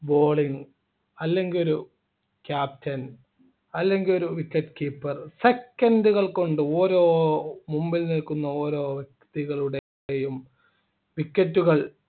bowling അല്ലെങ്കി ഒരു captain അല്ലെങ്കി ഒരു wicket keeper second കൾകൊണ്ട് ഓരോ മുമ്പിൽ നിൽക്കുന്ന ഓരോ വ്യക്തികളുടെയും wicket കൾ